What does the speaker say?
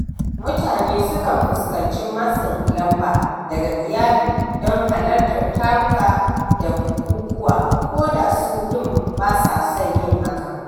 Mutane sukan fuskanci matsin lamba daga iyali don halartar taruka da bukukuwa ko da su ɗin ba sa son yin hakan.